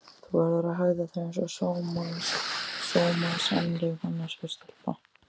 Þú verður að hegða þér einsog sómasamleg manneskja stelpa.